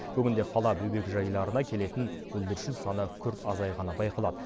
бүгінде қала бөбекжайларына келетін бүлдіршін саны күрт азайғаны байқалады